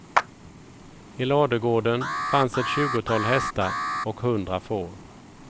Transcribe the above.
I ladugården fanns ett tjugotal hästar och hundra får.